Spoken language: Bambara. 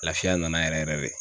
Lafiya nana yɛrɛ yɛrɛ de.